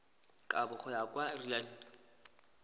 kabo go ya ka lrad